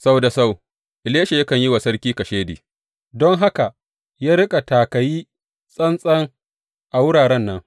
Sau da sau Elisha yakan yi wa sarki kashedi, don haka ya riƙa taka yi tsantsan a wuraren nan.